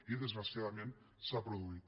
i desgraciadament s’ha produït